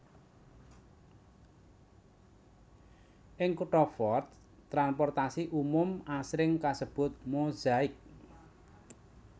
Ing kutha Fort transportasi umum asring kasebut Mozaik